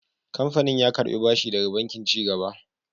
Kamfanin ya karɓi bashi daga Bankin Ci Gaba.